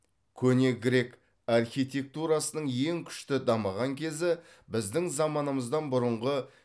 көне грек архитектурасының ең күшті дамыған кезі біздің заманымыздан бұрынғы